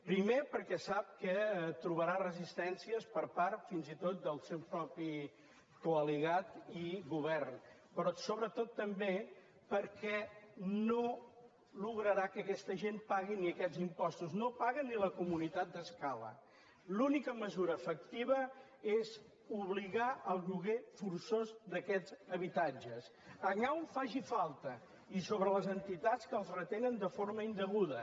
primer perquè sap que trobarà resistències per part fins i tot del seu propi coalitzat i govern però sobretot també perquè no aconseguirà que aquesta gent pagui ni aquests impostos no paguen ni la comunitat d’escala l’única mesura efectiva és obligar el lloguer forçós d’aquests habitatges allà on faci falta i sobre les entitats que els retenen de forma indeguda